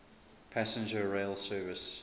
passenger rail service